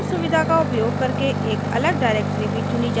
browse सुविधा का उपयोग करके एक अलग directory भी चुनी जा सकती है